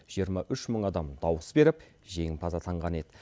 жиырма үш мың адам дауыс беріп жеңімпаз атанған еді